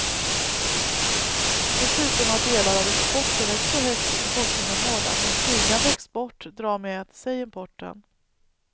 Dessutom har delar av exporten ett så högt importinnehåll att en stigande export drar med sig importen.